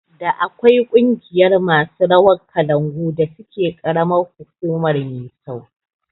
Da akwai ƙungiyar masu rawar kalangu da suke karamar hukumar Misau